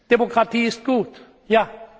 sind. Demokratie ist